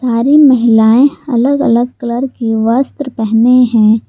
सारी महिलाएं अलग अलग कलर के वस्त्र पहने हैं।